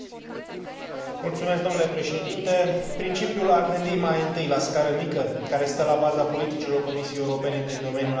Principiul a gândi mai întâi la scară mică, care stă la baza politicilor Comisiei Europene din domeniul antreprenoriatului, este unul important.